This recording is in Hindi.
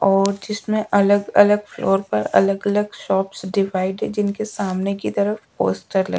और जिसमें अलग अलग फ्लोर पर अलग अलग शॉप्स डिवाइड जिनके सामने की तरफ पोस्टर लगे--